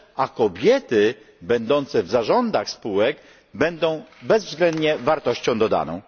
A kobiety będące w zarządach spółek będą bezwzględnie wartością dodaną.